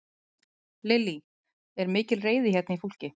Lillý: Er mikil reiði hérna í fólki?